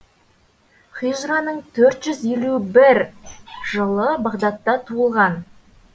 хижраның төрт жүз елу бір жылы бағдадта туылған